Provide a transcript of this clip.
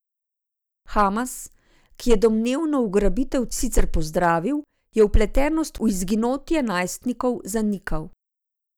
Hamas, ki je domnevno ugrabitev sicer pozdravil, je vpletenost v izginotje najstnikov zanikal.